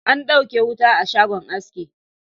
An ɗauke wuta a shagon aski